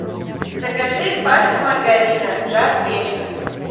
закажи пачку маргарина жар печка